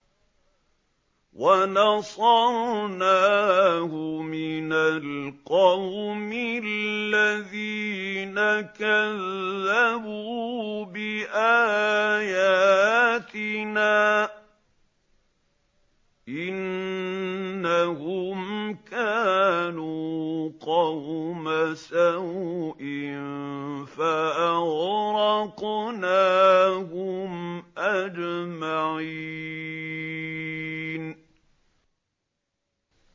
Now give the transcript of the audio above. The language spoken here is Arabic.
وَنَصَرْنَاهُ مِنَ الْقَوْمِ الَّذِينَ كَذَّبُوا بِآيَاتِنَا ۚ إِنَّهُمْ كَانُوا قَوْمَ سَوْءٍ فَأَغْرَقْنَاهُمْ أَجْمَعِينَ